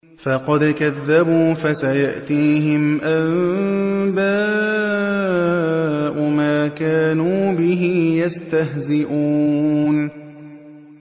فَقَدْ كَذَّبُوا فَسَيَأْتِيهِمْ أَنبَاءُ مَا كَانُوا بِهِ يَسْتَهْزِئُونَ